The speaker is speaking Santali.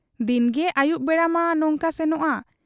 ᱫᱤᱱᱜᱮᱛᱚ ᱟᱹᱭᱩᱵ ᱵᱮᱲᱟᱢᱟ ᱱᱚᱝᱠᱟ ᱥᱮᱱᱚᱜ ᱟ ᱾